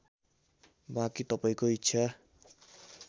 बाँकी तपाईँको ईच्छा